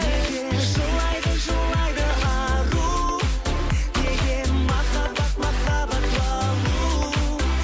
неге жылайды жылайды ару неге махаббат махаббат балу